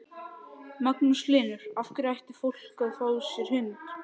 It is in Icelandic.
Magnús Hlynur: Af hverju ætti fólk að fá sér hund?